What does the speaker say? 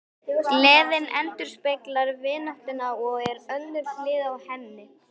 Gleðin endurspeglar vináttuna og er önnur hlið á henni.